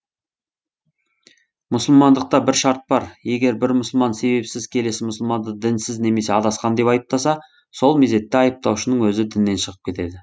мұсылмандықта бір шарт бар егер бір мұсылман себепсіз келесі мұсылманды дінсіз немесе адасқан деп айыптаса сол мезетте айыптаушының өзі діннен шығып кетеді